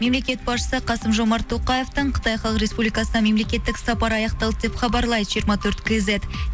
мемлекет басшысы қасым жомарт тоқаевтың қытай халық республикасына мемлекеттік сапары аяқталды деп хабарлайды жиырма төрт кейзет